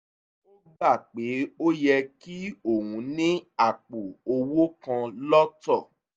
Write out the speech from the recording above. ó gbà pé ó yẹ kí òun ní àpò owó kan lọ́tọ̀